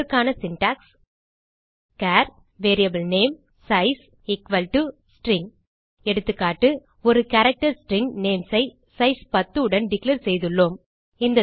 இதற்கான syntax char var namesize string எகா ஒரு கேரக்டர் ஸ்ட்ரிங் நேம்ஸ் ஐ சைஸ் 10 உடன் டிக்ளேர் செய்துள்ளோம்